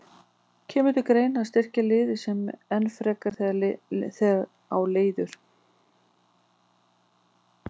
Kemur til greina að styrkja liðið enn frekar þegar á líður?